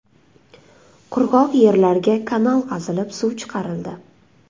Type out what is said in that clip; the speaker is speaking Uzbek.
Qurg‘oq yerlarga kanal qazilib, suv chiqarildi.